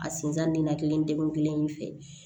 A sinzan nina kelen in fɛ